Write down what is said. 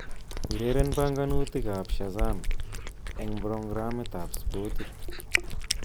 Ureren banganutikab Shazaam eng programutab spotit